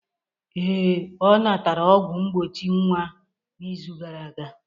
Ee, ọ natara ọgwụ mgbochi nwa n'izu gara aga